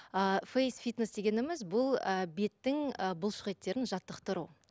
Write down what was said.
ы фейсфитнес дегеніміз бұл ы беттің ы бұлшық еттерін жаттықтыру